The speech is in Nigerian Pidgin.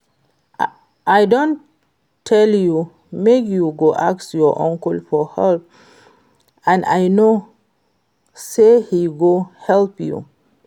I don tell you make you go ask your uncle for help and I know say he go help you